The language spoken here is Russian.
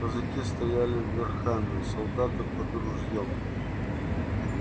казаки стояли верхами солдаты под ружьём